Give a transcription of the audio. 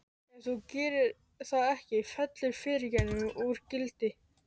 Ef þú gerir það ekki fellur fyrirgefningin úr gildi.